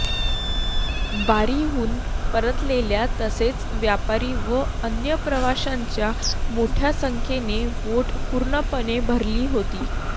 वारीहून परतलेल्या तसेच व्यापारी व अन्य प्रवाशांच्या मोठ्या संख्येने बोट पूर्णपणे भरली होती